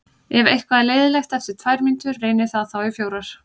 Ef eitthvað er leiðinlegt eftir tvær mínútur, reynið það þá í fjórar.